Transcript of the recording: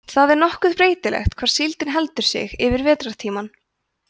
það er nokkuð breytilegt hvar síldin heldur sig yfir vetrartímann